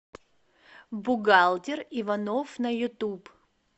бухгалтер иванов на ютуб